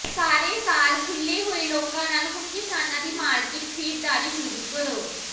ਸਾਰੇ ਸਾਲ ਖੁਲ੍ਹੇ ਹੋਏ ਲੋਕਾਂ ਨਾਲ ਹੁਣ ਕਿਸਾਨਾਂ ਦੀ ਮਾਰਕੀਟ ਖਰੀਦਦਾਰੀ ਸ਼ੁਰੂ ਕਰੋ